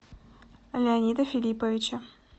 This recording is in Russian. леонида филипповича